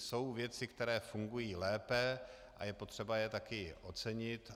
Jsou věci, které fungují lépe, a je potřeba je taky ocenit.